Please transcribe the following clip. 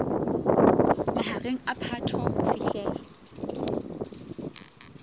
mahareng a phato ho fihlela